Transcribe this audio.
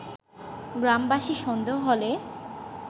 গ্রামবাসীর সন্দেহ হলে